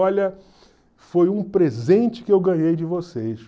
Olha, foi um presente que eu ganhei de vocês.